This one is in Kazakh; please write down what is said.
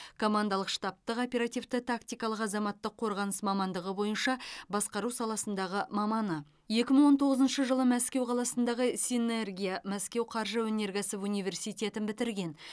командалық штабтық оперативті тактикалық азаматтық қорғаныс мамандығы бойынша басқару саласындағы маманы екі мың он тоғызыншы жылы мәскеу қаласындағы синергия мәскеу қаржы өнеркәсіп университетін бітірген